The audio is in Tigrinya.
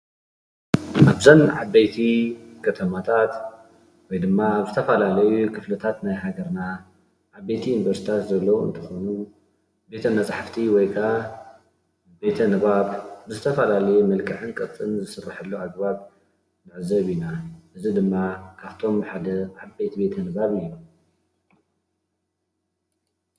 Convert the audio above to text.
ኣዘን ዓብይቲ ከተማታት ወይ ድማ ኣብ ዝተፈላላዩ ክፍልታተ ናይ ሃገርና ዓበይቲ ዩንቨርስቲታት ዘሎዉ እንትኾኑ ቤተ መፃሓፍቲ ወይ ከዓ ቤተ ንበብ ዝተፈላላዩ ብመልክዕን ቅርፂን ዝስረሓሉ ኣገባብ ንዕዘብ እና እዚ ድማ ካፍቶም ሓደ ዓበይቲ ቤተ ንባብ እዩ።